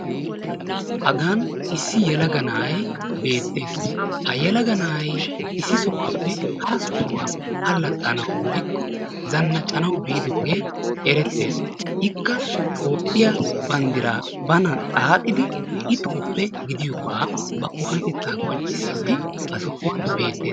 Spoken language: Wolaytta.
Hagan issi yelaga na'aay beetees. Ha yelaga na'aay issi sohuwappe hara sohuwaa allaxanawu woykko zannaccanawu bidoge eretees. Ikka toophiya banddira banan xaaxidi i toophe gidiyoga ba oonatetta qonccissidi ha sohuwan beetees.